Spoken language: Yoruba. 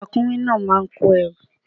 Ràkúnmí náà máa kó ẹrù.